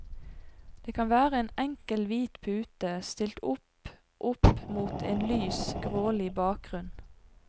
Det kan være en enkel hvit pute, stilt opp opp mot en lys, grålig bakgrunn.